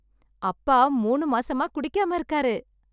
அப்பா மூணு மாசமா குடிக்காம இருக்காரு.